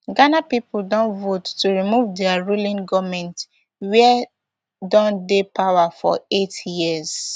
ghana pipo don vote to remove dia ruling goment wia don dey power for eight years